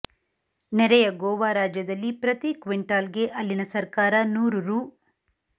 ನೆರೆಯ ಗೋವಾ ರಾಜ್ಯದಲ್ಲಿ ಪ್ರತಿ ಕ್ವಿಂಟಾಲ್ಗೆ ಅಲ್ಲಿನ ಸರ್ಕಾರ ನೂರು ರೂ